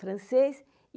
Francês.